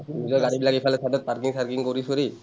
নিজৰ গাড়ীবিলাক এইফালে চবেই parking চাৰ্কিং কৰি চৰি,